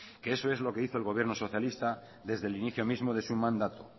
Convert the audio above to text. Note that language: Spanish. que eso es lo que hizo el gobierno socialista desde el inicio mismo de su mandato